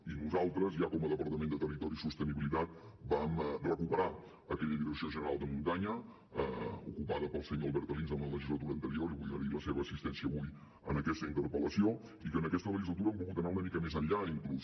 i nosaltres ja com a departament de territori i sostenibilitat vam recuperar aquella direcció general de muntanya ocupada pel senyor albert alins en la legislatura anterior li vull agrair la seva assistència avui en aquesta interpel·lació i en aquesta legislatura hem volgut anar una mica més enllà inclús